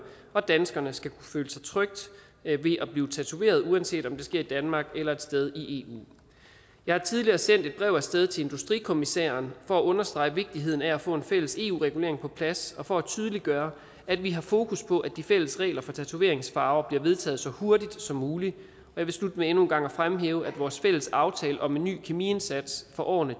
og danskerne skal kunne føle sig trygge ved at blive blive tatoveret uanset om det sker i danmark eller et sted i eu jeg har tidligere sendt et brev af sted til industrikommissæren for at understrege vigtigheden af at få en fælles eu regulering på plads og for at tydeliggøre at vi har fokus på at de fælles regler for tatoveringsfarver bliver vedtaget så hurtigt som muligt jeg vil slutte med endnu en gang at fremhæve at vores fælles aftale om en ny kemiindsats for årene